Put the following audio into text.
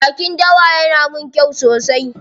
Jakin dawa yana min kyau sosai.